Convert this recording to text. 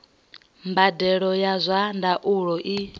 mbadelo ya zwa ndaulo i